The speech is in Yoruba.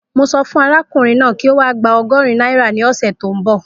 Mo sọ fún arákùnrin náà kí ó wá gba ọgọ́rin náírà ní ọ̀sẹ̀ tí ó ń bọ̀